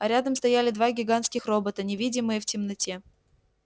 а рядом стояли два гигантских робота невидимые в темноте